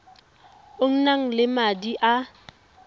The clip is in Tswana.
o nang le madi a